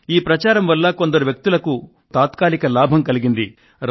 ఈ ప్రచారం వల్ల కొందరు వ్యక్తులకు తాత్కాలిక లాభం కలిగింది